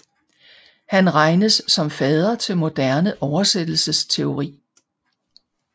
Han regnes som fader til moderne oversættelsesteori